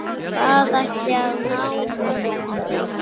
Hvað ætliði að ná mörgum?